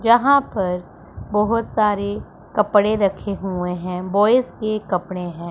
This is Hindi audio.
जहां पर बहोत सारे कपड़े रखे हुए हैं बॉयज के कपड़े हैं।